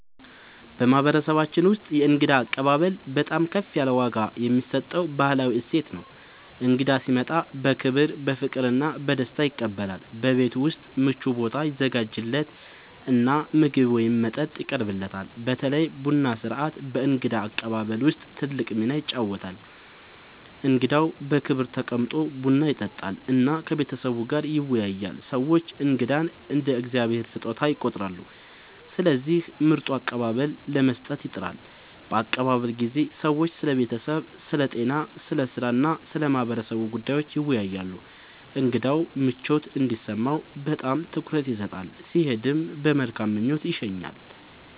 በማህበረሰባችን ውስጥ የእንግዳ አቀባበል በጣም ከፍ ያለ ዋጋ የሚሰጠው ባህላዊ እሴት ነው። እንግዳ ሲመጣ በክብር፣ በፍቅር እና በደስታ ይቀበላል፤ በቤት ውስጥ ምቹ ቦታ ይዘጋጃለት እና ምግብ ወይም መጠጥ ይቀርብለታል። በተለይ ቡና ሥርዓት በእንግዳ አቀባበል ውስጥ ትልቅ ሚና ይጫወታል፣ እንግዳው በክብር ተቀምጦ ቡና ይጠጣል እና ከቤተሰቡ ጋር ይወያያል። ሰዎች እንግዳን እንደ “የእግዚአብሔር ስጦታ” ይቆጥራሉ፣ ስለዚህ ምርጥ አቀባበል ለመስጠት ይጥራሉ። በአቀባበል ጊዜ ሰዎች ስለ ቤተሰብ፣ ስለ ጤና፣ ስለ ሥራ እና ስለ ማህበረሰቡ ጉዳዮች ይወያያሉ። እንግዳው ምቾት እንዲሰማው በጣም ትኩረት ይሰጣል፣ ሲሄድም በመልካም ምኞት ይሸኛል።